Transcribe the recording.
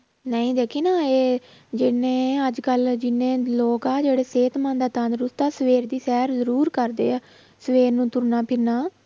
ਨਹੀਂ ਦੇਖੀਂ ਨਾ ਇਹ ਜਿੰਨੇ ਅੱਜ ਕੱਲ੍ਹ ਜਿੰਨੇ ਲੋਕ ਆ ਜਿਹੜੇ ਸਿਹਤਮੰਦ ਆ ਤੰਦਰੁਸਤ ਆ, ਸਵੇਰ ਦੀ ਸ਼ੈਰ ਜ਼ਰੂਰ ਕਰਦੇ ਆ, ਸਵੇਰ ਨੂੰ ਤੁਰਨਾ ਫਿਰਨਾ।